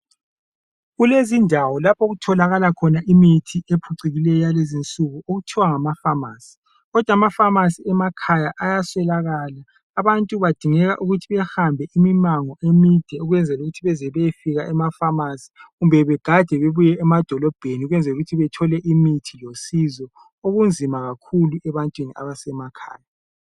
Kulezindawo lapho okutholakala khona imithi ephucukileyo yakulezi insuku okuthiwa ngama famasi kodwa amafamasi emakhaya ayaswelakala abantu badingeka ukuthi bahambe imango emide ukwenzela ukuthi beze beyefika emafamasi kumbe begade bebuye emadolibheni ukwenzela ukuthi bathole imithi losizo okunzima kakhulu ebantwini abasemakhaya